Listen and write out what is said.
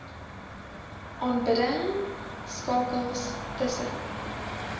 aanbidding skakels tussen